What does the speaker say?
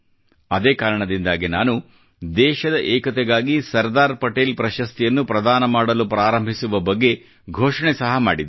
ಅದೇ ಕಾರಣದಿಂದ ನಾನು ದೇಶದ ಏಕತೆಗಾಗಿ ಸರ್ದಾರ್ ಪಟೇಲ್ ಪ್ರಶಸ್ತಿಯನ್ನು ಪ್ರದಾನಮಾಡಲು ಪ್ರಾರಂಭಿಸುವ ಬಗ್ಗೆ ಘೋಷಣೆ ಸಹಾ ಮಾಡಿದ್ದೆ